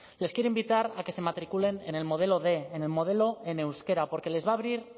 les quiero invitar a que se matriculen en el modelo quinientos en el modelo en euskera porque les va a abrir